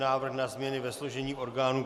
Návrh na změny ve složení orgánů